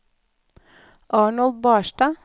Arnold Barstad